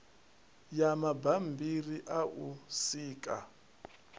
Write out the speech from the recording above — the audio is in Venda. ya mabambiri a u sika